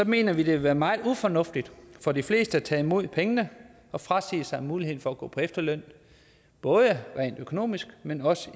mener vi det vil være meget ufornuftigt for de fleste at tage imod pengene og frasige sig muligheden for at gå på efterløn både rent økonomisk men også